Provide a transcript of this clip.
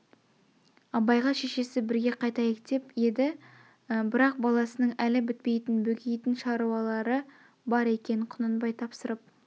абайға шешесі бірге қайтайық деп еді бірақ баласының әл бітпейтін бөгейтін шаруалары бар екен құнанбай тапсырып